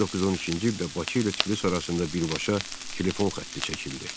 1913-cü ildə Bakı ilə Tiflis arasında birbaşa telefon xətti çəkildi.